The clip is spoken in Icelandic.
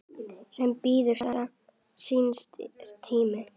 sem bíður síns tíma